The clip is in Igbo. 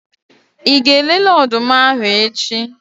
Ị ga-elele ọdụm ahu echi?